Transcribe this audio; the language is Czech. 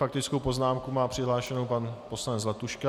Faktickou poznámku má přihlášenu pan poslanec Zlatuška.